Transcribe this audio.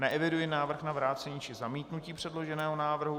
Neeviduji návrh na vrácení či zamítnutí předloženého návrhu.